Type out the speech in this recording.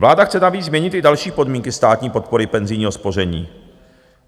Vláda chce navíc změnit i další podmínky státní podpory penzijního spoření.